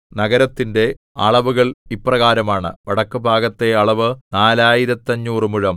നഗരത്തിന്റെ അളവുകൾ ഇപ്രകാരമാണ് വടക്കുഭാഗത്തെ അളവ് നാലായിരത്തഞ്ഞൂറു മുഴം